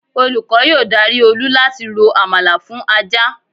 Olúkọ́ yóò dari Olú láti rò àmàlà fún ajá